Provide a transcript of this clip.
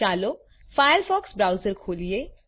ચાલો Firefox browser ખોલીએ